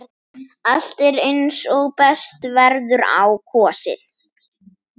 Allt er eins og best verður á kosið.